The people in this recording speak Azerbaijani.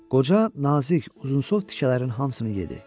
Qoca nazik, uzunsov tikələrin hamısını yedi.